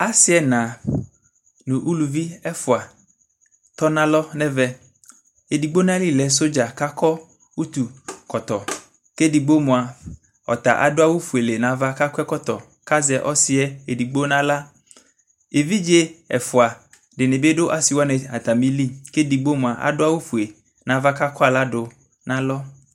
Aasi ɛna nʋ aalʋvi ɛfua tɔnalo n'ɛvɛEɖigbo n'ayili lɛ sɔdza k'akɔ ʋtu kɔtɔ k'ɛɖigbo moa ɔta aɖʋ awu fuele n'ava k'akɔ ɛkɔtɔ k'azɛ ɔsiɛ eɖigbo n'aɣlaEvidze ɛfua ɖinibi ɖʋ aasiwani aatamili k'ɛɖigbo moa aɖʋ awu fue n'ava k'akɔ aɣlaɖʋ n'alɔ